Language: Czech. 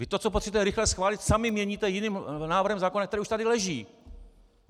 Vy to, co potřebujete rychle schválit, sami měníte jiným návrhem zákona, který už tady leží!